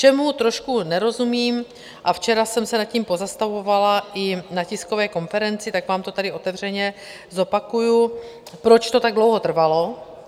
Čemu trošku nerozumím a včera jsem se nad tím pozastavovala i na tiskové konferenci, tak vám to tady otevřeně zopakuju, proč to tak dlouho trvalo?